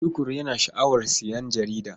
Tukur yana sha'awar sayen jarida.